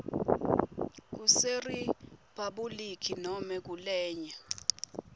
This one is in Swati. kuseriphabhuliki nobe kulenye